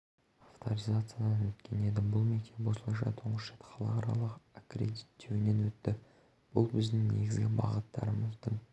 авторизациядан өткен еді бұл мектеп осылайша тұңғыш рет халықаралық аккредиттеуінен өтті бұл біздің негізгі бағыттарымыздың